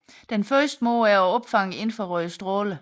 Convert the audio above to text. Den første måde er at opfange infrarøde stråler